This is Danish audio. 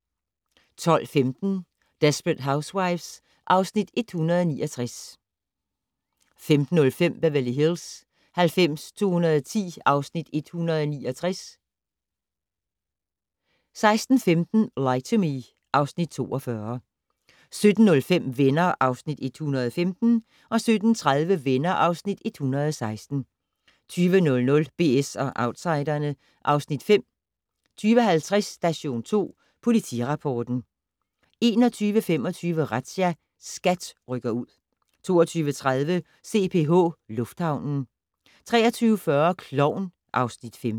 12:15: Desperate Housewives (Afs. 169) 15:05: Beverly Hills 90210 (Afs. 169) 16:15: Lie to Me (Afs. 42) 17:05: Venner (Afs. 115) 17:30: Venner (Afs. 116) 20:00: BS & Outsiderne (Afs. 5) 20:50: Station 2 Politirapporten 21:25: Razzia - SKAT rykker ud 22:30: CPH Lufthavnen 23:40: Klovn (Afs. 15)